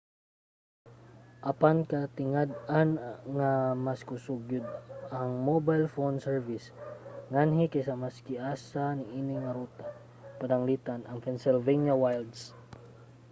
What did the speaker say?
apan katingad-an nga mas kusog gyud ang mobile phone service nganhi kaysa sa maski asa niini nga ruta pananglitan ang pennsylvania wilds